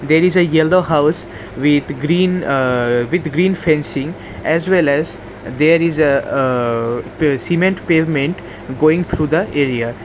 There is yellow house with green aa with green fencing as well as there is a-a-a pa cement pavement going through the area.